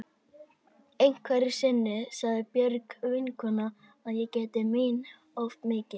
Einhverju sinni sagði Björg vinkona að ég gætti mín of mikið.